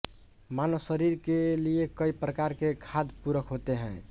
मानव शरीर के लिए कई प्रकार के खाद्य पूरक होते हैं